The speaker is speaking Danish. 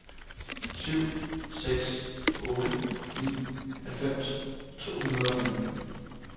syv seks otte ni halvfems to hundrede og femten